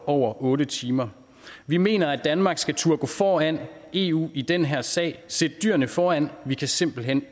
over otte timer vi mener at danmark skal turde gå foran eu i den her sag sæt dyrene foran vi kan simpelt hen